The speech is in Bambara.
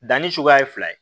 Danni cogoya ye fila ye